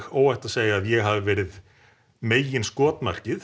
óhætt að segja að ég hafi verið